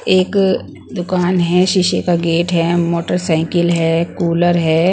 एक दुकान हैं शीशे का गेट हैं मोटरसाइकिल हैं कूलर हैं।